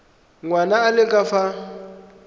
ngwana a le ka fa